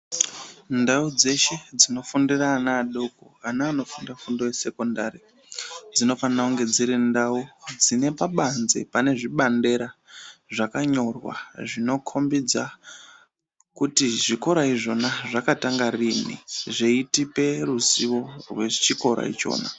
Ndau dzeshe dzinofundira ana adoko, ana anofunda fundo yesekondari dzinofana kunge dziri ndau dzinepabanze pane zvibandera zvakanyorwa zvinokombidza kuti zvikora izvona zvakatanga riini, rweitipe ruzvivo rwechikora ichona.